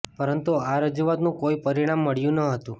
પરંતુ આ રજૂઆતનું કોઈ પરિણામ મળ્યું ન હતું